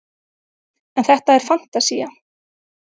en þetta er fantasía